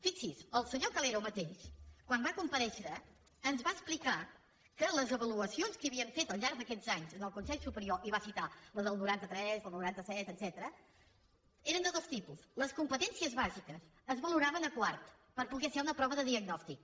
fixi’s el senyor calero mateix quan va comparèixer ens va explicar que les avaluacions que havien fet al llarg d’aquests anys en el consell superior i va citar la del noranta tres el noranta set etcètera eren de dos tipus les competències bàsiques es valoraven a quart per poder fer una prova de diagnòstic